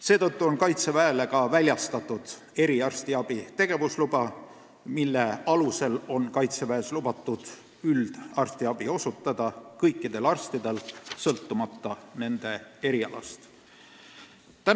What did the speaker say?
Seetõttu on Kaitseväele ka väljastatud eriarstiabi tegevusluba, mille alusel on Kaitseväes lubatud üldarstiabi osutada kõikidel arstidel sõltumata nende erialast.